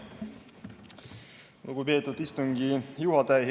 Lugupeetud istungi juhataja!